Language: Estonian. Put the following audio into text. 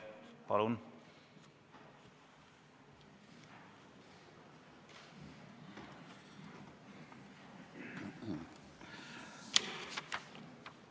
Palun!